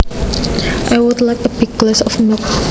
I would like a big glass of milk